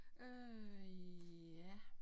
Øh ja